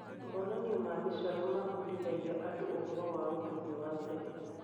Monanio ma mĩcoro mabundithagia andũ ũhoro wa ũndũire wa tene.